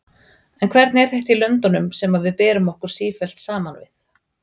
En hvernig er þetta í löndunum sem við berum okkur sífellt saman við?